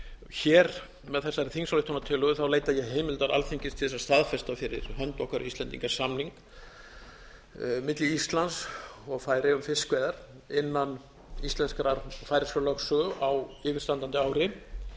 hér með þessari þingsályktunartillögu leita ég heimildar alþingis til þess að staðfesta fyrir hönd okkar íslendinga samning milli íslands og færeyja um fiskveiðar innan íslenskrar og færeyskrar lögsögu á yfirstandandi ári